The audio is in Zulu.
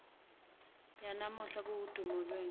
yanamuhla kuwudumo lwenu